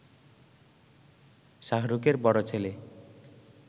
শাহরুখে বড় ছেলে